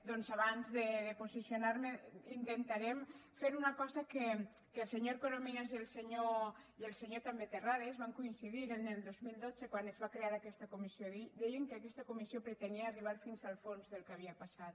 doncs abans de posicionar me intentarem fer una cosa en què el senyor corominas i també el senyor terrades van coincidir el dos mil dotze quan es va crear aquesta comissió deien que aquesta comissió pretenia arribar fins al fons del que havia passat